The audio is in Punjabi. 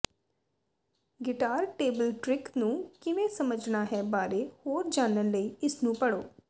ਗਿਟਾਰ ਟੇਬਲਟ੍ਰਿਕ ਨੂੰ ਕਿਵੇਂ ਸਮਝਣਾ ਹੈ ਬਾਰੇ ਹੋਰ ਜਾਣਨ ਲਈ ਇਸਨੂੰ ਪੜ੍ਹੋ